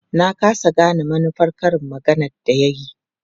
Na ƙasa gane manufar karin maganar da ya yi.